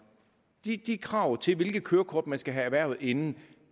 de de krav til hvilket kørekort man skal have erhvervet inden